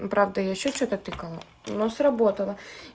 ну правда я ещё что-то тыкала но сработало